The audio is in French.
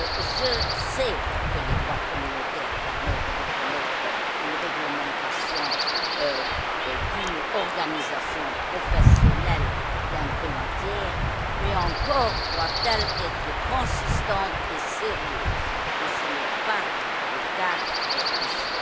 Je sais que le droit communautaire permet de reconnaître une réglementation d'une organisation professionnelle d'un pays tiers, mais encore doit elle être cohérente et sérieuse, et ce n'est pas le cas ici.